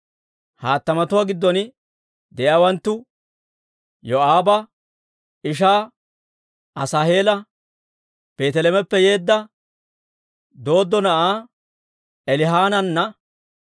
He hattamatuwaa giddon de'iyaawanttu: Yoo'aaba ishaa Asaaheela, Beeteleheemeppe yeedda Dooddo na'aa Elihanaana,